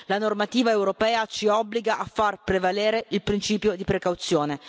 La normativa europea ci obbliga a far prevalere il principio di precauzione.